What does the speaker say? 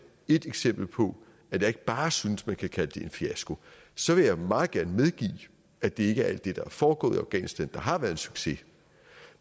et eksempel på at jeg ikke bare synes at man kan kalde det en fiasko så vil jeg meget gerne medgive at det ikke er alt det der er foregået i afghanistan der har været succes